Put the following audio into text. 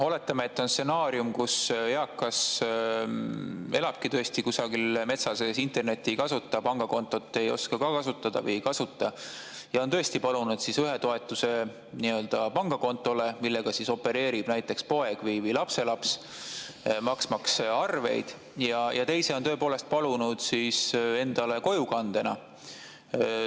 Oletame, et on selline stsenaarium, et eakas elabki tõesti kusagil metsa sees, internetti ei kasuta, pangakontot ei oska ka kasutada või ei kasuta ja on tõesti palunud ühe toetuse pangakontole, millega opereerib näiteks poeg või lapselaps, maksmaks arveid, ja teise on palunud endale kojukandega.